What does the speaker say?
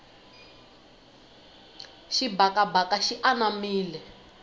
xibakabaka xi anamile